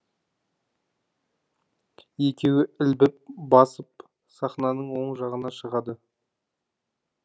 екеуі ілбіп басып сахнаның оң жағына шығады